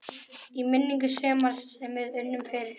Í minningu sumars sem við unnum fyrir.